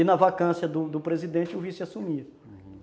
E na vacância do do presidente, o vice assumia, uhum.